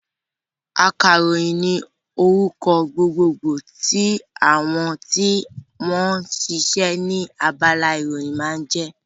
Akàròyìn ní orúkọ gbogbo gbò tí àwọn tí wọ́n sisẹ́ ní abala ìròyìn ń jẹ́